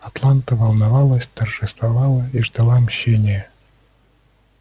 атланта волновалась торжествовала и жаждала мщения